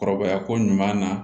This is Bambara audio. Kɔrɔbaya ko ɲuman na